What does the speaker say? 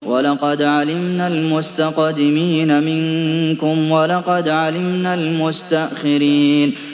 وَلَقَدْ عَلِمْنَا الْمُسْتَقْدِمِينَ مِنكُمْ وَلَقَدْ عَلِمْنَا الْمُسْتَأْخِرِينَ